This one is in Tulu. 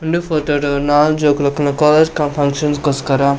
ಉಂದು ಪೋತೋ ಡು ನಾಲ್ ಜೋಕುಲು ಇಪ್ಪುನ ಕಾಲೇಜ್ ದ ಫಂಕ್ಷನ್ ಗೋಸ್ಕರ.